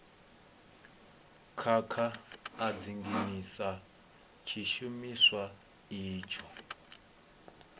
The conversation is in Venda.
khakha a dzinginyisa tshishumiswa itsho